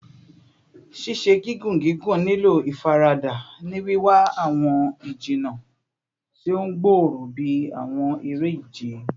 Ṣiṣe gigun gigun nilo ifarada, ni wiwa awọn ijinna ti o gbooro bi awọn ere-ije